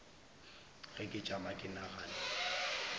ge ke tšama ke nagana